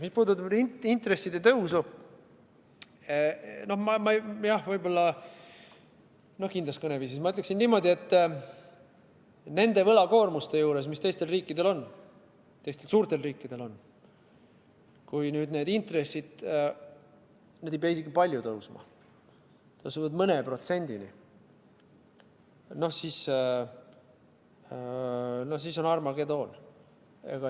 Mis puudutab intresside tõusu, no ma võib-olla kindlas kõneviisis ütleksin niimoodi, et nende võlakoormuste juures, mis teistel suurtel riikidel on, kui nüüd need intressid tõusevad – nad ei pea isegi palju tõusma, tõusevad mõne protsendini –, siis on Armageddon.